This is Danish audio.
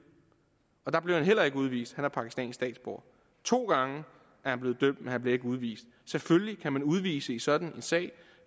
og der blev han heller ikke udvist han er pakistansk statsborger to gange er han blevet dømt men han bliver ikke udvist selvfølgelig kan man udvise i sådan en sag